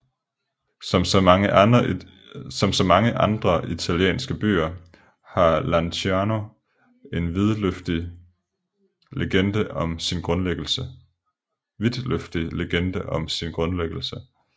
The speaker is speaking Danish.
Som så mange andre italienske byer har Lanciano en vidtløftig legende om sin grundlæggelse